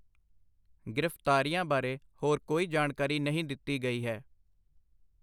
ਗ੍ਰਿਫਤਾਰੀਆਂ ਬਾਰੇ ਹੋਰ ਕੋਈ ਜਾਣਕਾਰੀ ਨਹੀਂ ਦਿੱਤੀ ਗਈ ਹੈ।